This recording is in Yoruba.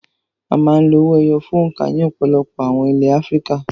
A máa ń lo owó ẹyọ fún òǹkà ní ọ̀pọ̀lọpọ̀ àwọn ilẹ̀ Áfíríkà.